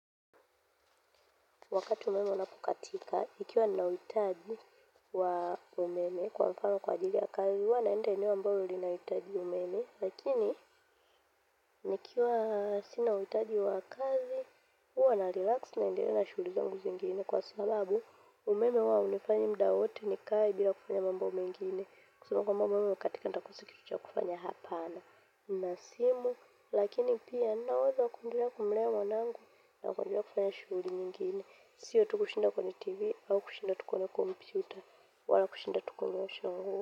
Wakati umeme unapokatika, ikiwa ninauhitaji umeme kwa mfano kwa ajili ya kazi, huwa naenda mahali ninapohitaji umeme, lakini, nikiwa sihitaji kwa kazi, naa relax na ninaendelea na shughuli zangu zingine. Kwa sababu, umeme huwa unanifanya muda wote nikae bila kufanya mambo mengine. Kusema kwamba umeme ukikatika, nitakosa kufanya hapana na simu. Lakini pia, ninaweza kujiandaa kumlewa mwanangu na kujiandaa kufanya shughuli nyingine. Siwa tukushinda kwenye tv, au kushinda tukona computer, wala kushinda tukona shangu.